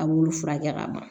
A b'olu furakɛ ka ban